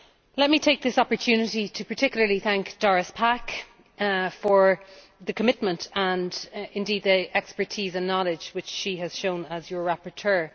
Let me take this opportunity to particularly thank Doris Pack for the commitment and indeed the expertise and knowledge which she has shown as your rapporteur.